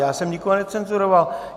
Já jsem nikoho necenzuroval.